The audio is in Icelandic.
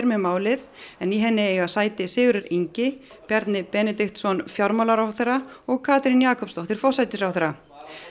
með málið en í henni eiga sæti Sigurður Ingi Bjarni Benediktsson fjármálaráðherra og Katrín Jakobsdóttir forsætisráðherra